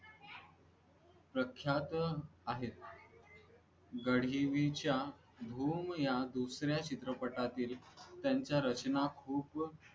प्रख्यात आहेत गाढिवईच्या अऔ या दुसऱ्या चित्रपटातील त्यांच्या रचना खूप